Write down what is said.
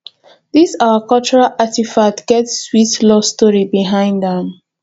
this our cultural artifact get sweat love story behind am